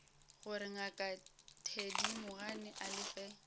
gore ngaka thedimogane a lefe